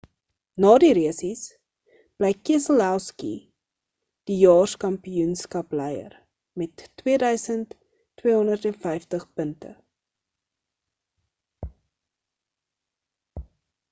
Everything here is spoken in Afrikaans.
na die resies bly keselowski die jaerskampioenskap-leier' met 2250 punte